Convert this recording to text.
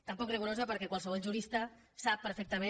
tan poc rigorosa perquè qualsevol jurista sap perfectament